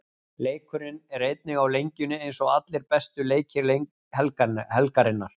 Leikurinn er einnig á Lengjunni eins og allir bestu leikir helgarinnar.